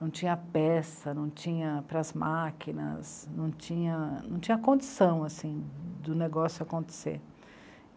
Não tinha peça, não tinha para as máquinas, não tinha, não tinha condição do negócio acontecer.